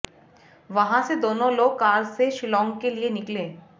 वहां से दोनों लोग कार से शिलांग के लिए निकले